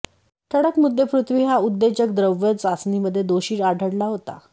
ठळक मुद्देपृथ्वी हा उत्तेजक द्रव्य चाचणीमध्ये दोषी आढळला होता